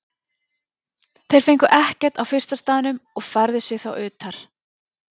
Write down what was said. Þeir fengu ekkert á fyrsta staðnum og færðu sig þá utar.